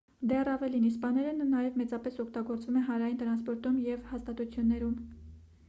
դեռ ավելին իսպաներենը նաև մեծապես օգտագործվում է հանրային տրասնպորտում և այլ հաստատություններում